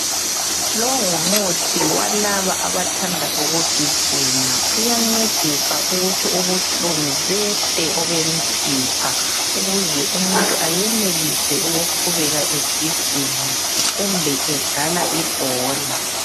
Lo ngumuthi walaba abathanda ukugijima uyancedisa ukuthi ubuhlungu behle obemisipha ukuze umuntu ayenelise ukuqhubeka egijima kumbe edlala ibhola.